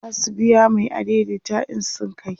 zasu biya Mai adaidaita in sun kai